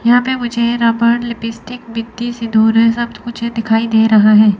यहां पे मुझे रबर लिपस्टिक बिंदी सिंदूर है सब कुछ दिखाई दे रहा है।